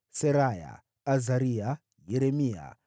Seraya, Azaria, Yeremia,